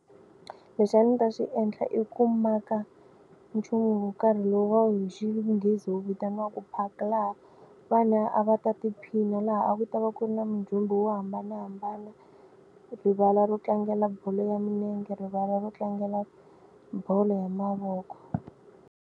Lexi a ndzi ta xi endla i ku maka nchumu wo karhi lowu va wu hi xinghezi wu vitaniwaka vanhu a va ta tiphina laha a ku ta va ku ri na mindzumba wo hambanahambana rivala ro tlangela bolo ya milenge, rivala ro tlangela bolo ya mavoko.